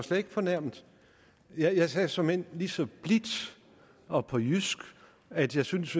slet ikke fornærmet jeg sagde såmænd lige så blidt og på jysk at jeg syntes